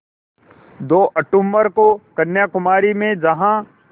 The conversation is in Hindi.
दो अक्तूबर को कन्याकुमारी में जहाँ